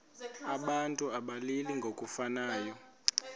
abantu abalili ngokufanayo